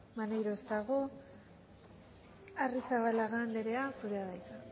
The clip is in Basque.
maneiro ez dago arrizabalaga anderea zurea da hitza